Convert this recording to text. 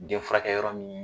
Den furakɛ yɔrɔ min